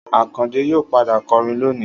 Akande yóò padà kọrin lónìí